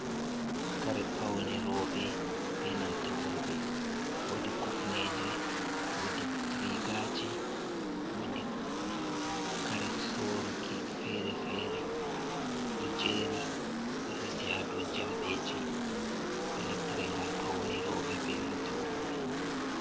Kare paune robe be nanta worbe, wodi kifneje wodi rigaji wodi kare soruki fere-fere do jeri resi hado jamdeji do naftere gam paunerobe be nanta worbe.